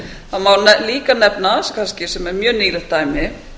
það má líka nefna kannski sem er mjög nýlegt dæmi